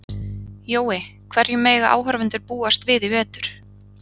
Jói, hverju mega áhorfendur búast við í vetur?